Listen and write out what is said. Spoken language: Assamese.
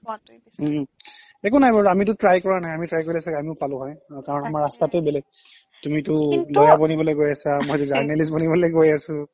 একো নাই বাৰু আমিটো try কৰা নাই আমি try কৰিলে ছাগে অমিও পালো হৈ অ কাৰণ আমাৰ তাকে ৰাস্তাটো বেলেগ তুমিটো কিন্তু lawyer বনিবলৈ গৈ আছা মইটো journalist বনিবলৈ গৈ আছো